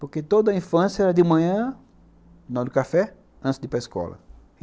Porque toda a infância era de manhã, no final do café, antes de ir para a escola.